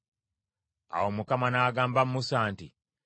Awo Mukama n’agamba Musa nti,